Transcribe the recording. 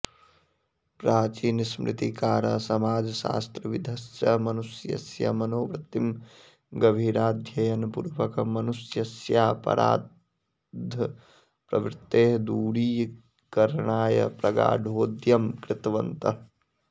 प्राचीनस्मृतिकाराः समाजशास्त्रविदश्च मनुष्यस्य मनोवृत्तिं गभीराध्ययनपूर्वकं मनुष्यस्यापराधप्रवृत्तेः दूरीकरणाय प्रगाढोद्यम कृतवन्तः